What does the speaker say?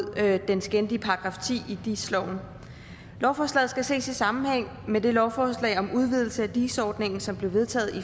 den skændige § ti i dis loven lovforslaget skal ses i sammenhæng med det lovforslag om en udvidelse af dis ordningen som blev vedtaget i